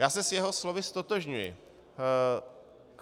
Já se s jeho slovy ztotožňuji.